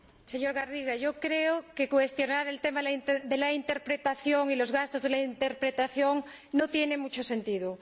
Señor Garriga, yo creo que cuestionar el tema de la interpretación y de los gastos de la interpretación no tiene mucho sentido.